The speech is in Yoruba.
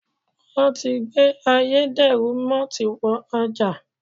Wọ́n ti gbé ayédèrú mọ́ọ́tì wọ ọjà.